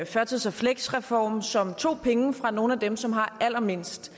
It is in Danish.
førtids og fleksreform som tog penge fra nogle af dem som har allermindst